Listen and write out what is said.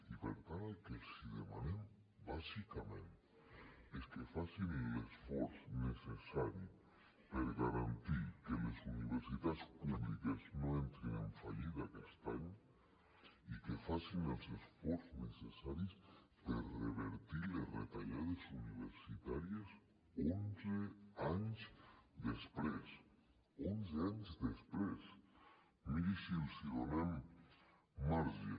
i per tant el que els demanem bàsicament és que facin l’esforç necessari per garantir que les universitats públiques no entrin en fallida aquest any i que facin els esforços necessaris per revertir les retallades universitàries onze anys després onze anys després miri si els donem marge